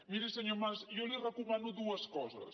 miri senyor mas jo li recomano dues coses